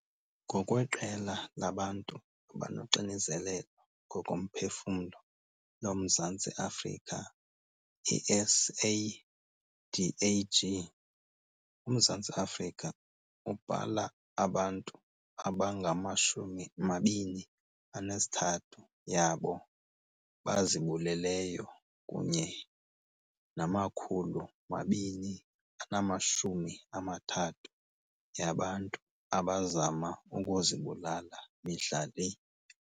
NgokweQela labaNtu abanoXinzelelo ngokoMphefumlo loMzantsi Afrika, i-SADAG, uMzantsi Afrika ubhala abantu abangama-23 yabo bazibuleleyo kunye nama-230 yabantu abazama ukuzibulala mihla le.